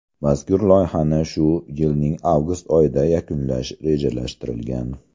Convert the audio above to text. Mazkur loyihani shu yilning avgust oyida yakunlash rejalashtirilgan.